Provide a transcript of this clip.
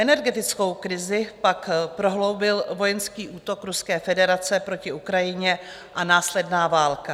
Energetickou krizi pak prohloubil vojenský útok Ruské federace proti Ukrajině a následná válka.